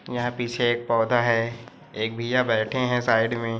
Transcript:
यहाँ पीछे एक पौधा है एक भैया बैठे है साइड में--